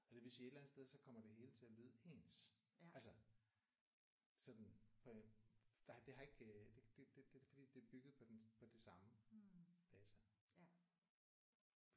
Og det vil sige et eller andet sted så kommer det hele til at lyde ens altså sådan på en det har ikke øh det det det er fordi det er bygget på den på det samme base